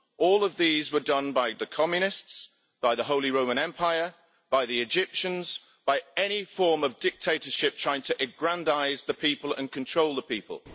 All of these were done by the communists, by the Holy Roman Empire, by the Egyptians, and by any form of dictatorship trying to aggrandise the people and control the people.